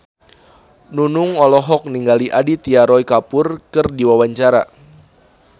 Nunung olohok ningali Aditya Roy Kapoor keur diwawancara